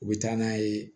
U bɛ taa n'a ye